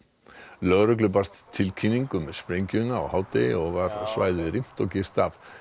lögreglu barst tilkynning um sprengjuna á hádegi og var svæðið rýmt og girt af